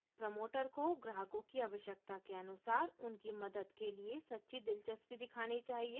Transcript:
promoter को ग्राहकों की आवश्यकता के अनुसार उनकी मदद के लिए सच्ची दिलचस्पी दिखानी चाहिए